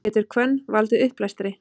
getur hvönn valdið uppblæstri